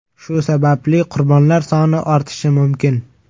Shu sababli qurbonlar soni ortishi mumkin.